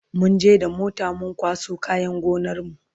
munje da mota mun kwaso kayan gonar mu